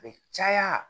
A bɛ caya